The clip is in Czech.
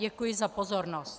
Děkuji za pozornost.